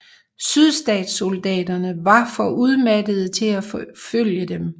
Sydstatssoldaterne var for udmattede til at forfølge dem